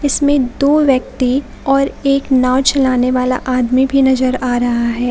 इसमें दो व्यक्ति और एक नाव चलाने वाला आदमी भी नजर आ रहा है।